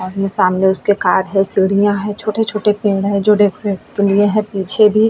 आमने सामने उसके कार है। सीढिया है। छोटे-छोटे पेड़ है जो डेकोरेट के लिए है। पीछे भी